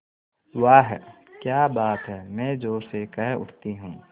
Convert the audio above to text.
वाह क्या बात है मैं ज़ोर से कह उठती हूँ